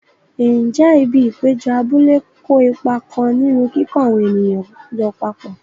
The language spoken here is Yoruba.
Ǹjẹ́ ibi ìpéjọ abúlé kó ipa kan nínú kíkó àwọn ènìyàn jọ papọ̀?